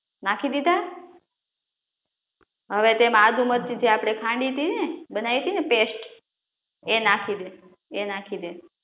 નાખી દીધા? હવે તેમાં આદુ મરચી થી આપડે ખાંડી તી ને, બનાવી તી ને પેસ્ટ, એ નાખી દે